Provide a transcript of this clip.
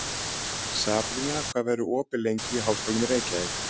Sabrína, hvað er opið lengi í Háskólanum í Reykjavík?